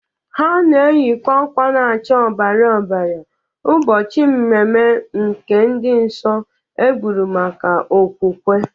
Ha na-eyịkwazị akwa na-acha ọbara ọbara ụbọchị mmemme nke ndị nsọ egburu maka okwukwe.